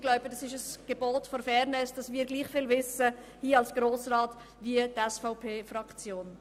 Es scheint mir ein Gebot der Fairness, dass wir als Grosser Rat gleich viel wissen wie die SVP-Fraktion.